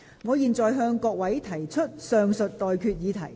我現在向各位提出上述待決議題。